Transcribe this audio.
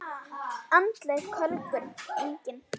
Andleg kölkun: engin.